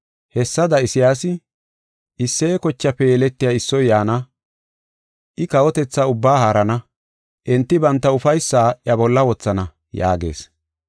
Hessada Isayaasi, “Isseye kochaafe yeletiya issoy yaana; I kawotetha ubbaa haarana. Enti banta ufaysaa iya bolla wothana” yaagees.